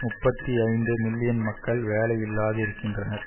முப்பத்தி ஐந்து மில்லியன் மக்கள் வேலையில்லாது இருக்கின்றனர்